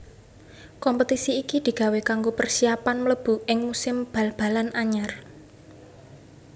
Kompetisi iki digawé kanggo persiapan mlebu ing musim bal balan anyar